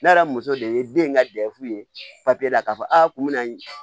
Ne yɛrɛ muso de ye den ka dɛfu ye papiye la k'a fɔ aa kun bɛ n ye